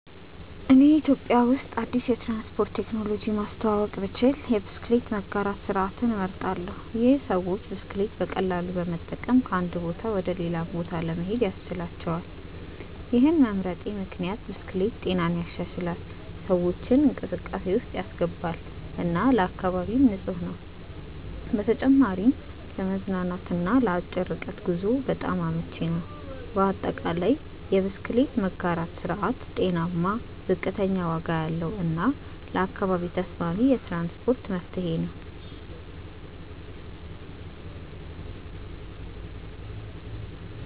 እኔ ኢትዮጵያ ውስጥ አዲስ የትራንስፖርት ቴክኖሎጂ ማስተዋወቅ ብችል የብስክሌት መጋራት ስርዓትን እመርጣለሁ። ይህ ሰዎች ብስክሌት በቀላሉ በመጠቀም ከአንድ ቦታ ወደ ሌላ ለመሄድ ያስችላቸዋል። ይህን መምረጤ ምክንያት ብስክሌት ጤናን ይሻሻላል፣ ሰዎችን እንቅስቃሴ ውስጥ ያስገባል እና ለአካባቢም ንፁህ ነው። በተጨማሪም ለመዝናናት እና ለአጭር ርቀት ጉዞ በጣም አመቺ ነው። በአጠቃላይ፣ የብስክሌት መጋራት ስርዓት ጤናማ፣ ዝቅተኛ ዋጋ ያለው እና ለአካባቢ ተስማሚ የትራንስፖርት መፍትሄ ነው።